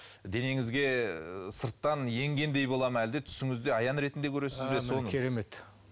денеңізге і сырттан енгендей бола ма әлде түсіңізде аян ретінде көресіз бе соны керемет